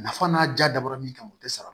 Nafa n'a ja dabɔra min kan o tɛ sara